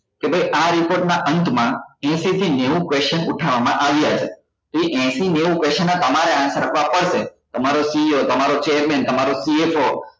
કે આ ભાઈ આ report ના અંત માં એશી થી નેવું question ઉઠવવા માં આવ્યા છે તો એ એશી નેવું question નાં તમારે answer આપવા પડશે તમારો CEO તમારો chairman તમારો PA